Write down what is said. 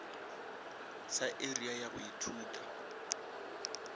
sa area ya go ithuta